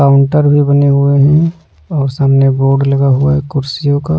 counter भी बने हुए हैं और सामने बोर्ड लगा हुआ है कुर्सियों का --